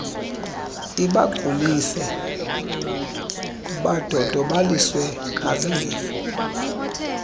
ibagulise badodobaliswe nazizifo